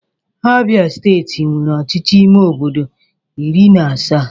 Abịa steeti nwere ọchịchị ime obodo iri na asaa